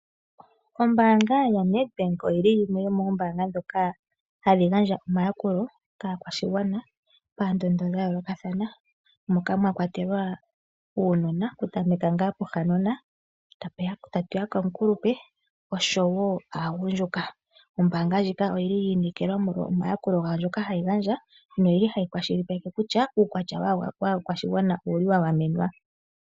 Ombaanga yaNedbank yimwe yomoombaanga ndhoka hadhi gandja omayakulo kaakwashigwana paendondo dhayoolokathana moka mwakwatelwa uunona okutameka ngaa pohanona, tatu ya komukulupe osho wo aagundjuka. Ombaanga ndjika oyi inekelwa molwa omayakulo gayo ngoka hayi gandja noyili hayi kwashilipaleke kutya uukwatya waakwashigwana owa gamenwa.